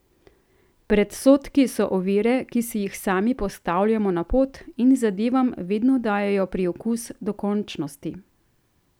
Predsodki so ovire, ki si jih sami postavljamo na pot, in zadevam vedno dajejo priokus dokončnosti.